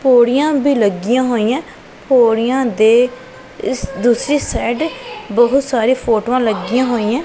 ਪੌੜੀਆਂ ਵੀ ਲੱਗੀਆਂ ਹੋਈਆਂ ਪੌੜੀਆਂ ਦੇ ਦੂਸਰੀ ਸਾਈਡ ਬਹੁਤ ਸਾਰੇ ਫੋਟੋਆਂ ਲੱਗੀਆਂ ਹੋਈਆਂ।